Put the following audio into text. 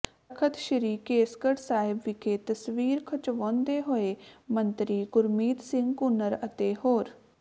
ਤਖ਼ਤ ਸ੍ਰੀ ਕੇਸਗੜ੍ਹ ਸਾਹਿਬ ਵਿਖੇ ਤਸਵੀਰ ਖਿਚਵਾਉਂਦੇ ਹੋਏ ਮੰਤਰੀ ਗੁਰਮੀਤ ਸਿੰਘ ਕੂਨਰ ਅਤੇ ਹੋਰ